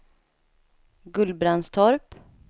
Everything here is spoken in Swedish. Gullbrandstorp